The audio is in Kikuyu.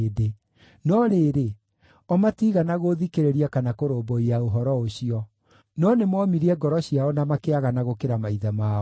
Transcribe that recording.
No rĩrĩ, o matiigana gũũthikĩrĩria kana kũrũmbũiya ũhoro ũcio. No nĩmoomirie ngoro ciao na makĩagana gũkĩra maithe mao.’